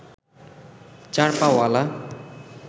চার পাঅলা